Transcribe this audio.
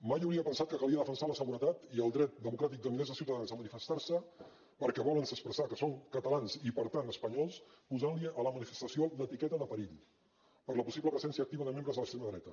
mai hauria pensat que calia defensar la seguretat i el dret democràtic de milers de ciutadans a manifestar se perquè volen expressar que són catalans i per tant espanyols posant li a la manifestació l’etiqueta de perill per la possible presència de membres de l’extrema dreta